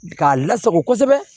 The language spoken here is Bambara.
K'a lasago kosɛbɛ